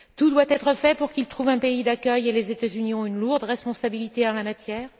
Tout doit être fait pour qu'ils trouvent un pays d'accueil et les États Unis ont une lourde responsabilité en la matière.